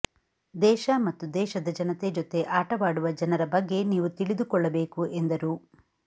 ದೇಶ ಮತ್ತು ದೇಶದ ಜನತೆ ಜತೆ ಆಟವಾಡುವ ಜನರ ಬಗ್ಗೆ ನೀವು ತಿಳಿದುಕೊಳ್ಳಬೇಕು ಎಂದರು